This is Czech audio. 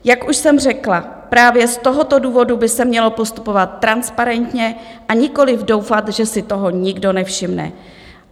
Jak už jsem řekla, právě z tohoto důvodu by se mělo postupovat transparentně, a nikoliv doufat, že si toho nikdo nevšimne.